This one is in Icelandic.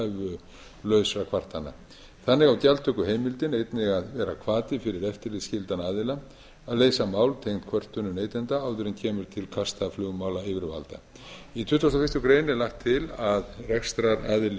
innheimt vegna tilhæfulausra kvartana þannig á gjaldtökuheimildin einnig að vera hvati fyrir eftirlitsskyldan aðila að leysa mál tengd kvörtunum neytenda áður en kemur til kasta flugmálayfirvalda í tuttugasta og fyrstu grein er lagt til að rekstraraðili